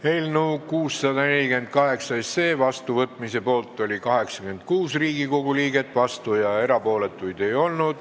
Hääletustulemused Eelnõu 648 seadusena vastuvõtmise poolt oli 86 Riigikogu liiget, vastuolijaid ega erapooletuid ei olnud.